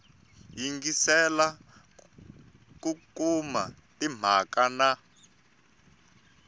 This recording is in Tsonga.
yingiselela ku kuma timhaka na